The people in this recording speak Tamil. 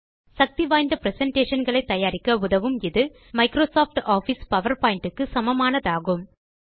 சக்தி வாய்ந்த பிரசன்டேஷன் களை தயாரிக்க உதவும் இது மைக்ரோசாஃப்ட் ஆஃபிஸ் பவர்பாயிண்ட் க்கு சமமானதாகும்